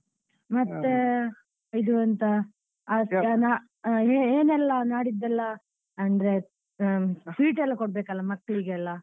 ಹಾ ಮತ್ತೆ ಇದು ಎಂತ ಜನ ಏನೆಲ್ಲಾ ನಾಡಿದ್ದೆಲ್ಲ ಅಂದ್ರೆ sweet ಎಲ್ಲ ಕೊಡ್ಬೇಕಲ್ಲ ಮಕ್ಳಿಗೆಲ್ಲ.